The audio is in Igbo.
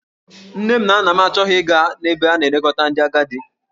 Nne na nna m achọghị ịga n'ebe a na-elekọta ndị agadi.